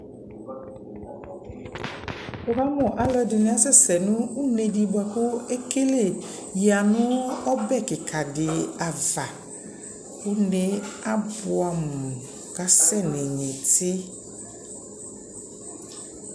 Wʋkamʋ alʋɛdini asɛsɛ une di boa kʋ ekele yanʋ ɔbɛ kika di ava Une e abuamʋ kʋ asɛnʋ inyiti